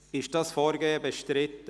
Ist dieses Vorgehen im Rat bestritten?